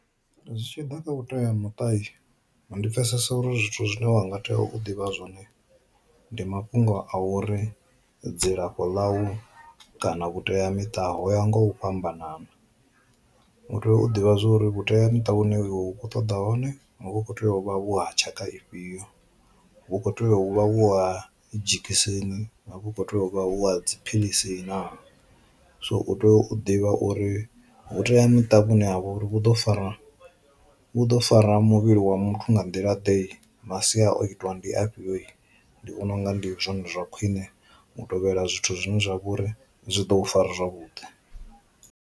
Zwi tshi ḓa kha vhutea muṱa ndi pfesesa uri zwithu zwine wanga tea u ḓivha zwone ndi mafhungo a uri dzilafho ḽa u kana vhuteamiṱa ho ya nga u fhambanana, u tea u ḓivha zwori vhuteamiṱa vhuṅwe iwe ukho ṱoḓa hone hu kho tea u vha vhu ha tshakha ifhio, vhu kho tea u vha vhu ha dzhekiseni, vhu kho tea u vha vhu ha dziphilisi na. So u tea u ḓivha uri vhuteamiṱa vhune ha vha uri vhu ḓo fara vhu ḓo fara muvhili wa muthu nga nḓila ḓe masia o itiwa ndi afhio ndi vhona unga ndi zwone zwa khwine u tovhela zwithu zwine zwa vha uri zwi ḓo fara zwavhuḓi.